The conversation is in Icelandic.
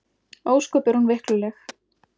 Ósköp er hún veikluleg.